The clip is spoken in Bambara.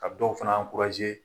Ka dɔw fana